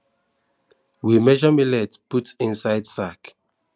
we measure millet put inside sack